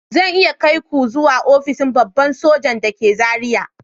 Zan iya kai ku zuwa ofishin babban hafsan soji da ke Zariya